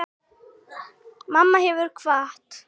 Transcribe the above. Mamma hefur kvatt.